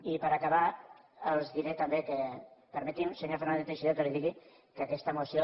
i per acabar els diré també permeti’m senyor fernández teixidó que li digui que aquesta moció